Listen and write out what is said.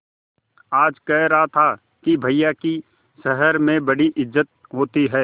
आज कह रहा था कि भैया की शहर में बड़ी इज्जत होती हैं